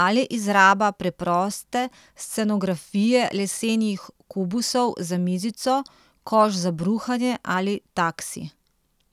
ali izraba preproste scenografije lesenih kubusov za mizico, koš za bruhanje ali taksi.